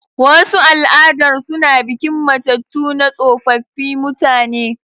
Wasu al'adar suna bikin matattu na tsofaffi mutane.